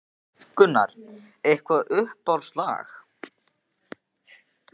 Gunnar: Eitthvað uppáhalds lag?